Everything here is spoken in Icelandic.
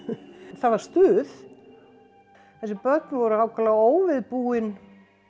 það var stuð þessi börn voru ákaflega óviðbúin